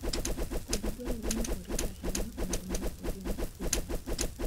Kodhi dwarore ni orit ahinya mondo omi ogeng' kute